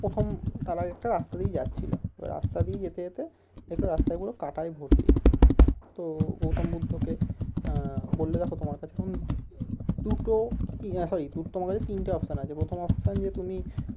প্রথম তারা একটা রাস্তা দিয়ে যাচ্ছিলো ওই রাস্তা দিয়ে যেতে যেতে দেখলো রাস্তায় পুরো কাটাই ভরতি তো গৌতম বুদ্ধকে আহ বললো দেখো তোমার কাছে এখন দুটো কি না sorry তোমার কাছে তিনটা option আছে প্রথম option যে তুমি